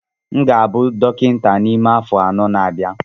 M ga-abụ dọkịta n'ime afọ anọ na-abịa